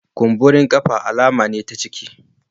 Kumburen kafafu alama ne ta ciki